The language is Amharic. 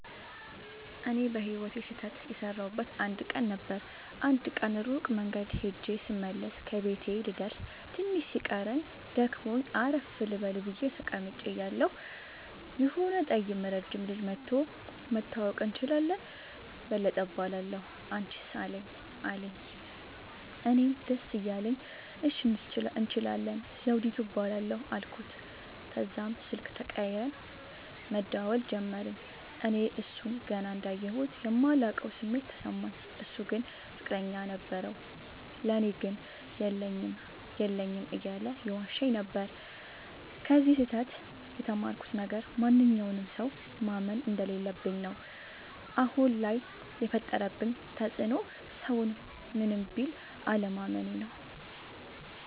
እኔ በህይወቴ ስህተት የሠረውበት አንድ ቀን ነበር። አንድ ቀን ሩቅ መንገድ ኸጀ ስመለስ ከቤቴ ልደርስ ትንሽ ሲቀረኝ ደክሞኝ አረፍ ልበል ብየ ተቀምጨ እያለሁ የሆነ ጠይም ረጅም ልጅ መኧቶ<< መተዋወቅ እንችላለን በለጠ እባላለሁ አንችስ አለኝ>> አለኝ። እኔም ደስ እያለኝ እሺ እንችላለን ዘዉዲቱ እባላለሁ አልኩት። ተዛም ስልክ ተቀያይረን መደዋወል ጀመርን። እኔ እሡን ገና እንዳየሁት የማላቀዉ ስሜት ተሰማኝ። እሡ ግን ፍቅረኛ ነበረዉ። ለኔ ግን የለኝም የለኝም እያለ ይዋሸኝ ነበር። ከዚ ስህተ ት የተማርኩት ነገር ማንኛዉንም ሠዉ ማመን እንደለለብኝ ነዉ። አሁን ላይ የፈጠረብኝ ተፅዕኖ ሠዉን ምንም ቢል አለማመኔ ነዉ።